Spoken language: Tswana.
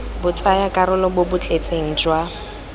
botsayakarolo bo bo tletseng jwa